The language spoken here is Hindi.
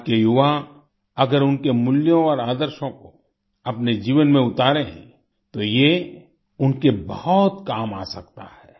आज के युवा अगर उनके मूल्यों और आदर्शों को अपने जीवन में उतारें तो ये उनके बहुत काम आ सकता है